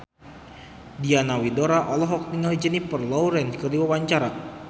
Diana Widoera olohok ningali Jennifer Lawrence keur diwawancara